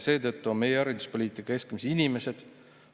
Seetõttu on meie hariduspoliitika keskmes inimesed.